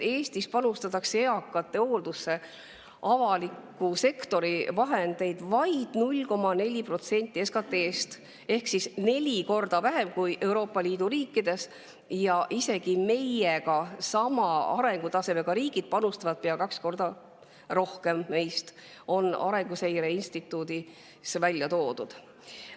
Eestis panustatakse eakate hooldusse avaliku sektori vahendeid vaid 0,4% SKT‑st ehk neli korda vähem kui Euroopa Liidu riikides ja isegi meiega sama arengutasemega riigid panustavad meist pea kaks korda rohkem, on Arenguseire välja toonud.